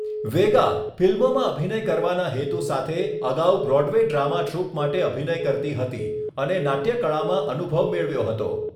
વેગા, ફિલ્મોમાં અભિનય કરવાના હેતુ સાથે, અગાઉ બ્રોડવે ડ્રામા ટ્રુપ માટે અભિનય કરતી હતી અને નાટ્યકળામાં અનુભવ મેળવ્યો હતો.